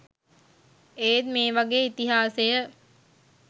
ඒත් මේ වගේ ඉතිහාසය